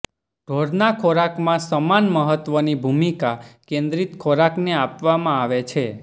ઢોરના ખોરાકમાં સમાન મહત્ત્વની ભૂમિકા કેન્દ્રિત ખોરાકને આપવામાં આવે છે